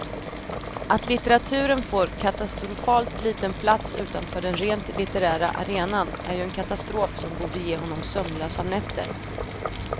Att litteraturen får katastrofalt liten plats utanför den rent litterära arenan är ju en katastrof som borde ge honom sömnlösa nätter.